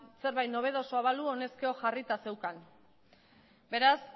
zerbait nobedosoa balu honezkero jarrita zeukan beraz